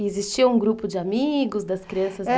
E existia um grupo de amigos das crianças de lá?